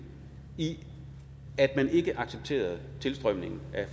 i at man ikke accepterede tilstrømningen af